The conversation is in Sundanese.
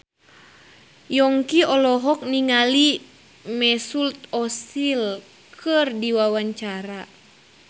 Yongki olohok ningali Mesut Ozil keur diwawancara